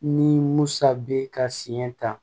Ni musa be ka siɲɛ ta